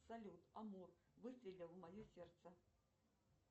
салют амур выстрелил в мое сердце